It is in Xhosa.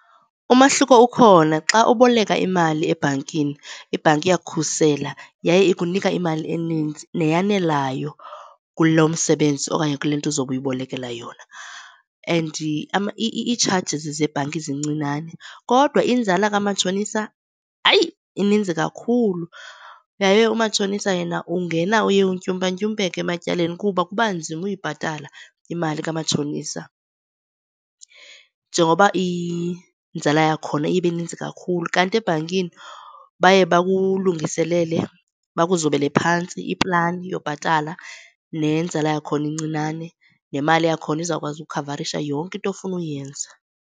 Umahluko ukhona. Xa uboleka imali ebhankini, ibhanki iyakukhusela yaye ikunika imali eninzi neyanelayo kulo msebenzi okanye kule nto uzobe uyibolekela yona. And iitshajizi zebhanki zincinane. Kodwa inzala kamatshonisa, hayi, ininzi kakhulu yaye umatshonisa yena ungena uye untyumpa-ntyumpeke ematyaleni kuba kuba nzima uyibhatala imali kamatshonisa njengokuba inzala yakhona iye ibe ninzi kakhulu. Kanti ebhankini baye bakulungiselele bakuzobele phantsi iplani yobhatala nenzala yakhona incinane nemali yakhona izawukwazi ukhavarisha yonke into ofuna uyenza.